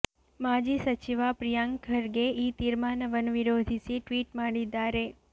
ಮಾಜಿ ಸಚಿವ ಪ್ರಿಯಾಂಕ್ ಖರ್ಗೆ ಈ ತೀರ್ಮಾನವನ್ನು ವಿರೋಧಿಸಿ ಟ್ವೀಟ್ ಮಾಡಿದ್ದಾರೆ